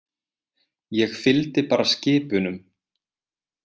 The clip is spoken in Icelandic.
Ég fylgdi bara skip unum.